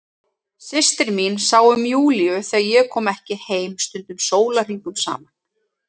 Systir mín sá um Júlíu þegar ég kom ekki heim, stundum sólarhringum saman.